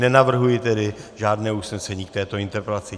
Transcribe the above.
Nenavrhuji tedy žádné usnesení k této interpelaci.